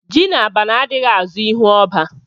Ji na abana adighi azo ihu oba